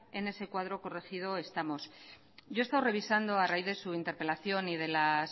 en ese cuadro corregido estamos yo he estado revisando a raíz de su interpelación y de las